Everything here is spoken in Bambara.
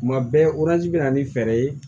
Kuma bɛɛ bɛ na ni fɛɛrɛ ye